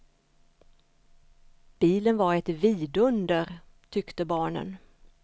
Bilen var ett vidunder, tyckte barnen.